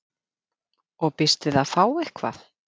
Og býst við að fá eitthvað?